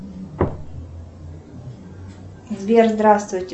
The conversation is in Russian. сбер здравствуйте